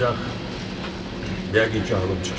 Ancaq yəqin ki, ağlım çaşır.